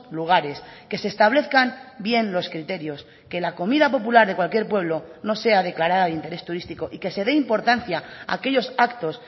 lugares que se establezcan bien los criterios que la comida popular de cualquier pueblo no sea declarada de interés turístico y que se dé importancia a aquellos actos